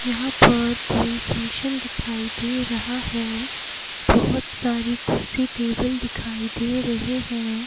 यहां पर कोई फंक्शन दिखाई दे रहा है बहुत सारी कुर्सी टेबल दिखाई दे रहे है।